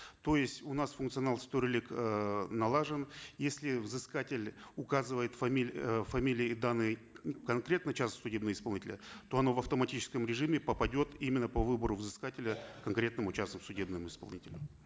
то есть у нас функционал с төрелік эээ налажен если взыскатель указывает э фамилии и данные конкретного частного судебного исполнителя то оно в автоматическом режиме попадет именно по выбору взыскателя конкретному частному судебному исполнителю